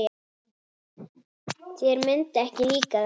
Þér myndi ekki líka það.